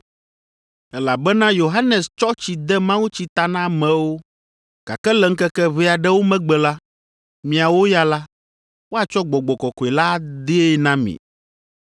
elabena Yohanes tsɔ tsi de mawutsi ta na amewo, gake le ŋkeke ʋɛ aɖewo megbe la, miawo ya la, woatsɔ Gbɔgbɔ Kɔkɔe la adee na mi.”